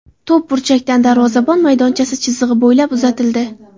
To‘p burchakdan darvozabon maydonchasi chizig‘i bo‘ylab uzatildi.